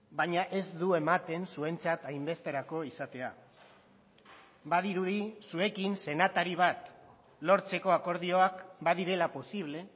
baina ez du ematen zuentzat hainbesterako izatea badirudi zuekin senatari bat lortzeko akordioak badirela posible